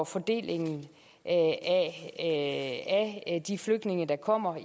fordelingen af de flygtninge der kommer